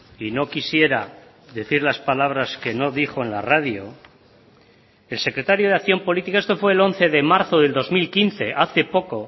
y no quisiera decir las palabras que no dijo en la radio el secretario de acción política esto fue el once de marzo del dos mil quince hace poco